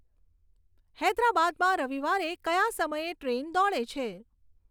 હૈદરાબાદમાં રવિવારે કયા સમયે ટ્રેન દોડે છે